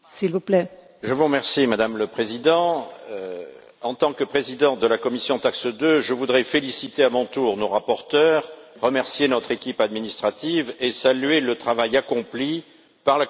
Madame la Présidente, en tant que président de la commission TAXE 2, je voudrais féliciter à mon tour nos rapporteurs, remercier notre équipe administrative et saluer le travail accompli par la Commission européenne, M.